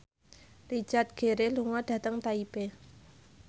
Richard Gere lunga dhateng Taipei